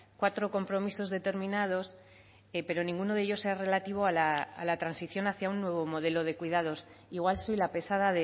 cuatro compromisos determinados pero ninguno de ellos es relativo a la transición hacia un nuevo modelo de cuidados igual soy la pesada